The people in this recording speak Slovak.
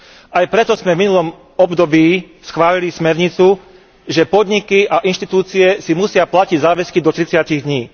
Aj preto sme v minulom období schválili smernicu, že podniky a inštitúcie si musia platiť záväzky do 30 dní.